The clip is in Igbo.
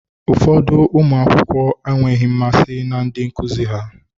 Ụfọdụ ụmụ akwụkwọ enweghị mmasị na ndị nkuzi ha.